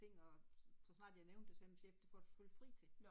Og så snart jeg nævnte det sagde min chef det får du selvfølgelig fri til